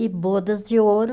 E bodas de ouro.